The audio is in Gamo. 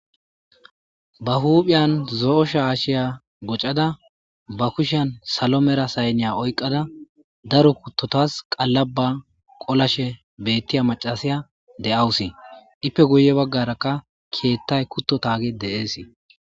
ba huuphiyan zo7o sha ashiya gocada ba kushan salo mera saynniya oyqada daro kuttotas qallaba qolashe beettiya macasiya de7awusi dippe guye baggarakka kiettay kutto taage de7eesii